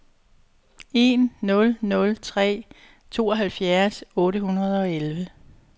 en nul nul tre tooghalvfjerds otte hundrede og elleve